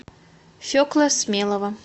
фекла смелова